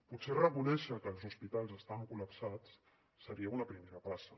potser reconèixer que els hospitals estaven col·lapsats seria una primera passa